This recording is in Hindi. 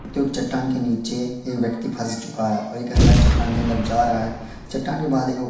क्यूंकि चट्टान के नीचे एक व्यक्ति फंस चुका है और एक अंदर चट्टान के अंदर जा रहा है चट्टान के बाहर देखो --